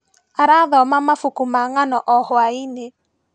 Arathoma mabuku ma ng'ano o hwainĩ.